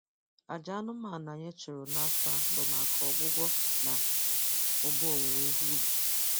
Aja anụmanụ anyị chụrụ n'afọ a bụ maka ọgwụgwọ na ụba owuwe ihe ubi